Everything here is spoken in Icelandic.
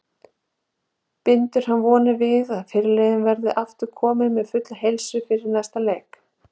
Bindur hann vonir við að fyrirliðinn verði aftur kominn með fulla heilsu fyrir næsta leik.